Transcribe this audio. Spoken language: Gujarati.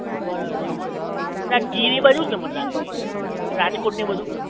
બરાબર છે એલા ગીર ઈ બાજુ ને મને લાગે નઇ રાજકોટ ને બધુ